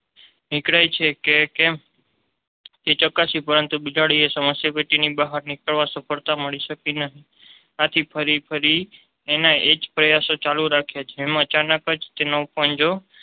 નીકરાય છે કે કેમ તે ચકાશી પરંતુ બિલાડી એ સમસ્યા પેટીની બહાર નીકળવા સફળતા મળી શકી નહિ આથી ફરી ફરી એના એ જ પ્રયાસો ચાલુ રાખ્યા છે જેમાં અચાનક જ તેનો પંજો